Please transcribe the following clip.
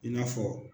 I n'a fɔ